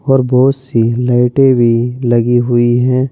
और बहुत सी लाइटें भी लगी हुई हैं।